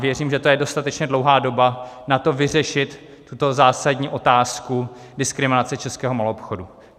Věřím, že to je dostatečně dlouhá doba na to vyřešit tuto zásadní otázku diskriminace českého maloobchodu.